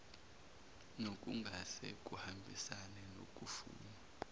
nokungase kuhambisane nokufunwa